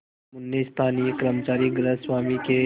जुम्मन ने स्थानीय कर्मचारीगृहस्वामीके